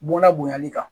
Bɔnna bonyali kan